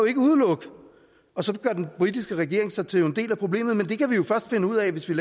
ikke udelukke og så gør den britiske regering sig til en del af problemet men det kan vi jo først finde ud af hvis vi